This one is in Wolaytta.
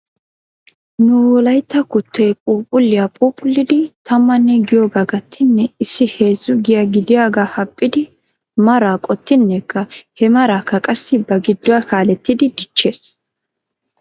Nu wolaytta kuttoy phuuphphliyaa phuuphullidi tammanne giyoogaa gattinne issi heezzu giya gidiyaagaa haphphidi maraa qoxinnekka he maraakka qassi ba geeduwaa kaaletiidi dichches.